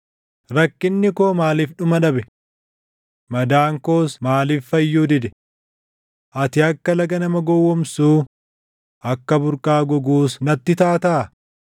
Rakkinni koo maaliif dhuma dhabe? Madaan koos maaliif fayyuu dide? Ati akka laga nama gowwoomsuu akka burqaa goguus natti taataa?